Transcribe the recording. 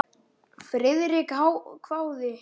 Friðrik hváði.